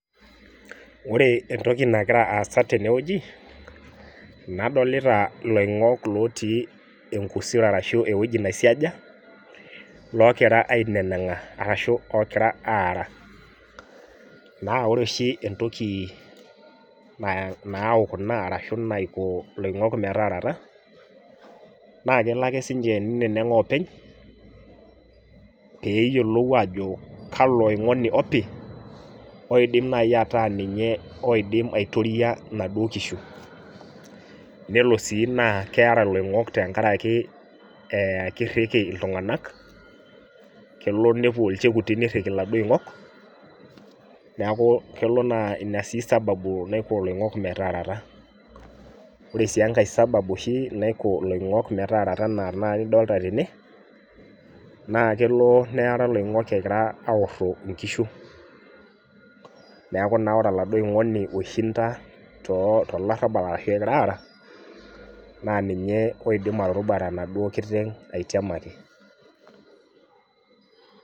Wore entoki nakira aasa tene wueji, nadoolta iloingok lootii enkusero arashu ewoji naisiaja, lookira ainenenga arashu ookira aara. Naa wore oshi entoki nau kuna arashu naiko iloingok metaarata, naa kelo ake siinche ninenenga oopeny, peeyiolou aajo kalo oingoni opi, oidim naai ataa ninye oidim aitoria inaduo kishu. Nelo sii naa keera iloingok tenkaraki kirriki iltunganak, kelo nepuo ilchekuti nirriki iladuo oingok, neeku kelo naa ina sii sababu naisho iloingok metaarata. Wore sii enkae sababu oshi naiko iloingok metaarata enaa tenakata nidolta tene, naa kelo neara iloingok ekira aaorro inkishu, neeku naa wore oladuo oingoni oishinda tolarabal arashu ekira aara, naa ninye oidim aturrubare enaduo kiteng aitiamaki.